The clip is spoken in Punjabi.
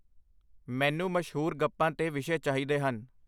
ਮੈਨੂੰ ਮਸ਼ਹੂਰ ਗੱਪਾਂ 'ਤੇ ਵਿਸ਼ੇ ਚਾਹੀਦੇ ਹਨ